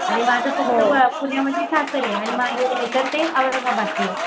आणि माझं पुण्यामध्ये सासर आणि महेर औरंगाबादचं ये